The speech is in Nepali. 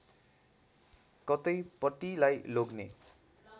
कतै पतिलाई लोग्ने